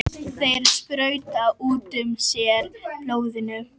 Þeir sprauta út úr sér blóðinu.